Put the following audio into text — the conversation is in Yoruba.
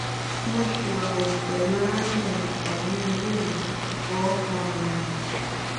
mo siwawu pelu arabirin kan ni ile iwe mo fowokan oyan re